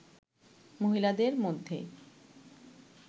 মহিলাদের মধ্যে